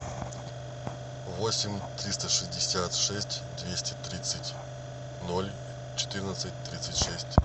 восемь триста шестьдесят шесть двести тридцать ноль четырнадцать тридцать шесть